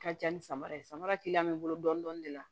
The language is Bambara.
Ka ca ni samara ye samara bɛ n bolo dɔɔnin dɔɔnin de la